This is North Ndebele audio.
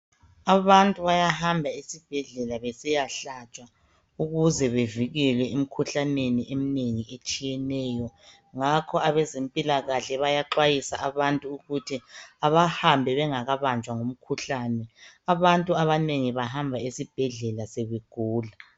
Abantu bayahamba esibhedlela besiyahlatshwa ukuze bevikelwe emikhuhlaneni eminengi etshiyeneyo. Ngakho abezempilakahle bayaxwayisa abantu ukuthi abahambe bengakabanjwa ngumkhuhlane. Abantu abanengi bahamba esibhedlela sebegula .